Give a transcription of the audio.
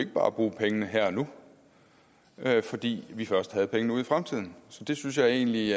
bare bruge pengene her og nu fordi vi først havde pengene ude i fremtiden jeg synes egentlig